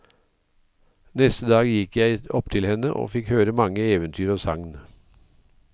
Neste dag gikk jeg opptil henne og fikk høre mange eventyr og sagn.